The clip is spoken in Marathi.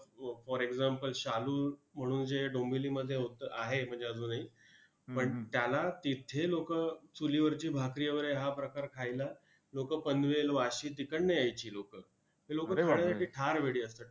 हो for example शालू म्हणून जे डोंबिवलीमध्ये होतं म्हणजे आहे अजूनही! पण त्याला तिथे लोकं चुलीवरची भाकरी वगैरे हा प्रकार खायला लोकं पनवेल-वाशी तिकडनं यायची लोकं! हे लोकं खाण्यासाठी फार वेडी असतात.